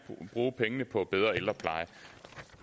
bruge pengene på en bedre ældrepleje